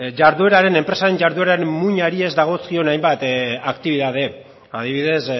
jarduerari enpresaren jardueraren muinari ez dagozkion hainbat aktibitate adibidez